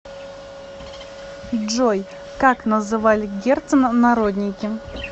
джой как называли герцена народники